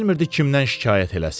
Amma bilmirdi kimdən şikayət eləsin.